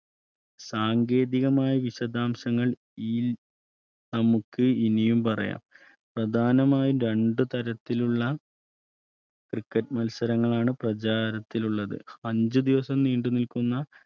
സാങ്കേതികമായ വിശതാംശങ്ങൾ നമുക്ക് ഇനിയും പറയാം പ്രധാനമായും രണ്ടു തരത്തിലുള്ള cricket മത്സരങ്ങളാണ് പ്രചാരത്തിലുള്ളത് അഞ്ചു ദിവസം നീണ്ടുനിൽക്കുന്ന